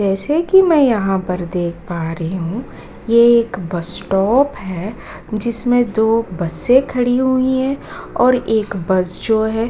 जैसे कि मैं यहाँ पर देख पा रही हूँ ये एक बस स्टॉप है जिसमें दो बसें खड़ी हुई हैं और एक बस जो है --